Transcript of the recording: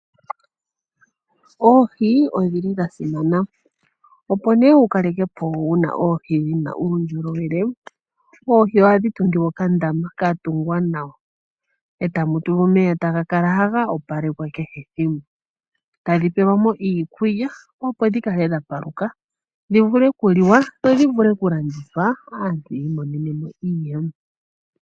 Oohi odhili dha simana opo nee wu kalekepo oohi dhi na uundjolowele oohi ohadhi tungilwa okandama ka tungwa nawa e tamu tulwa omeya taga kala haga opalekwa kehe ethimbo, tadhi peelwamo iikulya opo dhi kale dha paluka dhi vule okuliwa dho dhivule okulandithwa aantu yiimonenemo iiyemo.